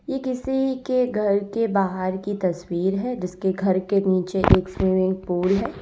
ये किसी के घर के बाहर की तस्वीर है जिसके घर के नीचे एक स्विमिंग पूल है।